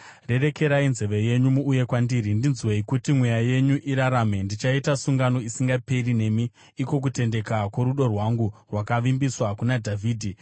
Rerekai nzeve yenyu muuye kwandiri; ndinzwei kuti mweya yenyu irarame. Ndichaita sungano isingaperi nemi, iko kutendeka kworudo rwangu rwakavimbiswa kuna Dhavhidhi.